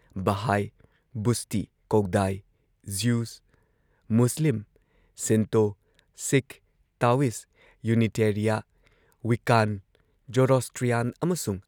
Baha'i, ꯕꯨꯁꯇꯤ, Caodai, Jews, Muslim, Shinto, Sikh, Taoist, Unitarian, Wiccan, Zoroastrian ꯑꯃꯁꯨꯡ